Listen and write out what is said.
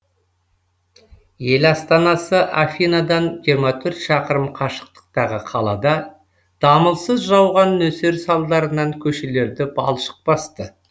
ел астанасы афинадан жиырма төрт шақырым қашықтықтағы қалада дамылсыз жауған нөсер салдарынан көшелерді балшық басты